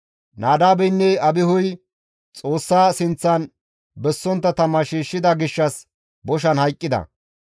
Nadaabeynne Abihuy Xoossa sinththan bessontta tama shiishshida gishshas boshan hayqqida.